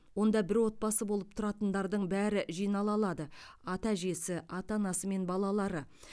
онда бір отбасы болып тұратындардың бәрі жинала алады ата әжесі ата анасы мен балалары